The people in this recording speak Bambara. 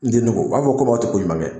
N denninko o b'a fɔ komi a tɛ koɲuman kɛ.